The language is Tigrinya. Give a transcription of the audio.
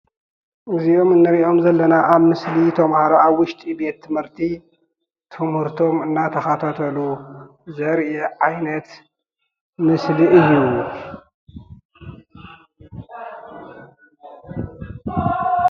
እዞም እንሪኦም ዘለና አብ ምስሊ ተማሃሮ አብ ውሽጢ ቤት ትምህርቲ ትምህርቶም እናተከታተሉ ዘሪኢ ዓይነት ምስሊ እዩ፡፡